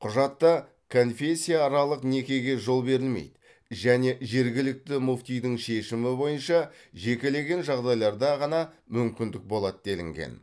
құжатта конфессияаралық некеге жол берілмейді және жергілікті мүфтидің шешімі бойынша жекелеген жағдайларда ғана мүмкіндік болады делінген